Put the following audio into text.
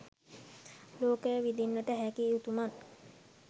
ලෝකය විඳින්නට හැකි උතුමන්